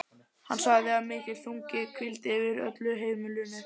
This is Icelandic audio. Hann sagði að mikill þungi hvíldi yfir öllu á heimilinu.